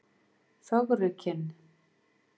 Fögrukinn